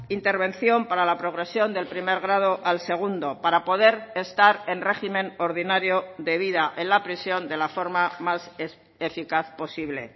intervención para la progresión del primer grado al segundo para poder estar en régimen ordinario de vida en la prisión de la forma más eficaz posible